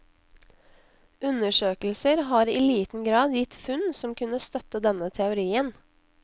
Undersøkelser har i liten grad gitt funn som kunne støtte denne teorien.